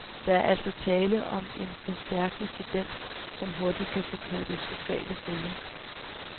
Der er altså tale om en forstærkende tendens, som hurtigt kan få katastrofale følger.